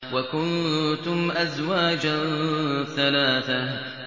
وَكُنتُمْ أَزْوَاجًا ثَلَاثَةً